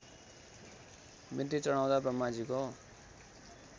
बिन्ती चढाउँदा ब्रह्माजीको